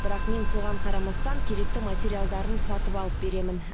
бірақ мен соған қарамастан керекті материалдарын сатып алып беремін